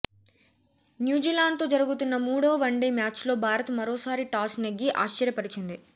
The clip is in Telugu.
న్యూజిలాండ్తో జరుగుతున్న మూడో వన్డే మ్యాచ్లో భారత్ మరోసారి టాస్ నెగ్గి ఆశ్చర్యపరిచింది